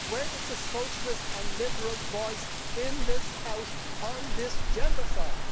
Where is the socialist and liberal voice in this House on this gendercide?